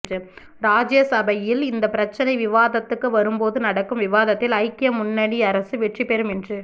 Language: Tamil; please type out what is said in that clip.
ராஜ்ய சபையில் இந்த பிரச்சினை விவாதத்துக்கு வரும்போது நடக்கும் விவாதத்தில் ஐக்கிய முன்னணி அரசு வெற்றி பெறும் என்று